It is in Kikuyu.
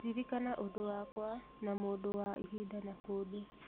Ririkana ũndũ wakwa na mũndũ wa ihinda na kũndũ